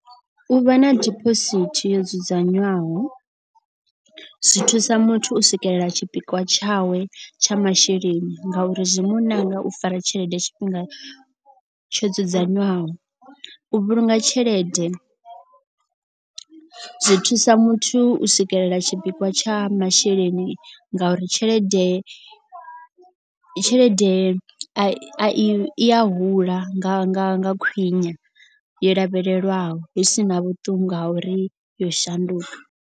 U vha na dibosithi yo dzudzanywaho zwi thusa muthu u swikelela tshipikwa tshawe tsha masheleni. Nga uri zwi muṋanga u fara tshelede tshifhinga tsho dzudzanywaho. U vhulunga tshelede zwi thusa muthu u swikelela tshipikwa tsha masheleni ngauri tshelede. Tshelede a i a hula nga nga nga khwine yo lavhelelwaho hu sina vhuṱungu ha uri yo shanduka.